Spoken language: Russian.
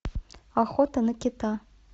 охота на кита